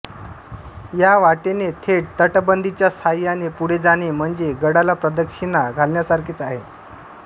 या वाटेने थेट तटबंदीच्या साह्याने पुढे जाणे म्हणजे गडाला प्रदक्षिणा घालण्यासारखेच आहे